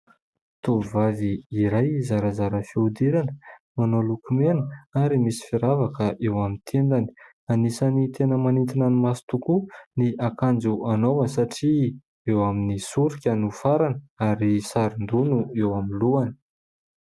Tovovavy iray zarazara fihodirana manao lokomena ary misy firavaka eo amin'ny tendany, anisany tena manintona ny maso tokoa ny akanjo anaovany satria eo amin'ny soroka no farany ary saron-doha no eo amin'ny lohany.